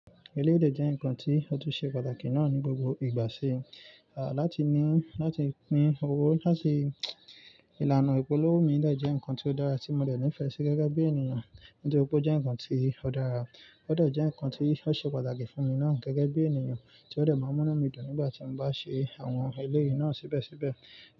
Eléyìí de jẹ́ ǹkan tí ó tún ṣe pàtàkì náà ní gbogbo ìgbà ṣi, à láti ní, láti pín owó láti, ìlànà ìpolówó mi de jẹ́ ǹkan tí ó dára tí mo de ní ìfẹ́ sí gẹ́gẹ́ bí ènìyàn, nítoripe ó jẹ́ nǹkan tí ó dára, ó dẹ́ je nǹkan tí ó ṣe pàtàkì fún mi náà gẹ́gẹ́ bí ènìyàn tí ó de máa ń mú inu mi dùn nígbà tí mo bá ṣe àwọn eléyìí náà síbẹ̀síbẹ̀